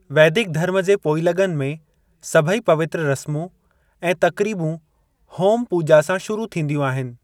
वैदिक धर्म जे पोइलग॒नि में सभई पवित्रु रस्मूं ऐं तक़रीबूं होम पूॼा सां शुरू थींदियूं आहिनि।